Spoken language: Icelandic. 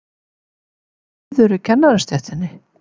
Er kominn friður í kennarastéttinni?